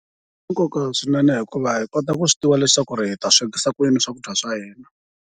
Swi na nkoka swinene hikuva hi kota ku swi tiva leswaku hi ta swekisa ku yini swakudya swa hina.